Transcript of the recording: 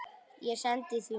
Ég sendi því mat.